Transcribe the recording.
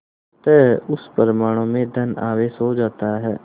अतः उस परमाणु में धन आवेश हो जाता है